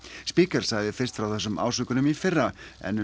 Spiegel sagði fyrst frá þessum ásökunum í fyrra en um